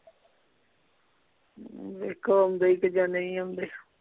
ਵੇਖੋ ਆਉਂਦੇ ਈ ਕ ਜਾਂ ਨਹੀਂ ਆਉਂਦੇ